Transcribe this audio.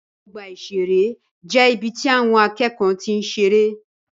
Ọgbà ìṣeré jẹ́ ibi tí àwọn akẹ́kọ̀ọ́ ti ń seré.